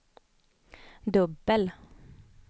dubbel